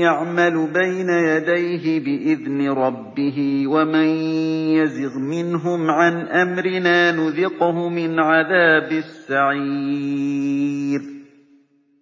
يَعْمَلُ بَيْنَ يَدَيْهِ بِإِذْنِ رَبِّهِ ۖ وَمَن يَزِغْ مِنْهُمْ عَنْ أَمْرِنَا نُذِقْهُ مِنْ عَذَابِ السَّعِيرِ